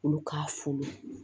Olu k'a fu